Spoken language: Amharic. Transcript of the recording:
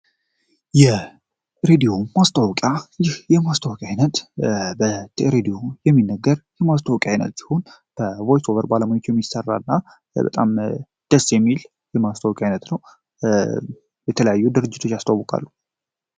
የሬዲዮ ማስታወቂያ ይህ የማስታወቅ ዓይነት በሬዲዮ የሚነገር የማስታወቅ ዓይነት ሲሆን በቮይስ ኦቨር ባለሙያወቹ የሚሠራ እና በጣም ደስ ሚል የማስታወቅ ዓይነት ነው። የተለያዩ ድርጅቶች ያስተውቃሉ።